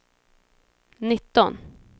nitton